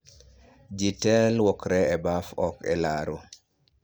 Ji te lwokre e baf ok e laro